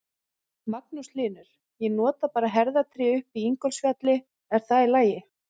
Magnús Hlynur: Ég nota bara herðatré upp í Ingólfsfjalli, er það í lagi?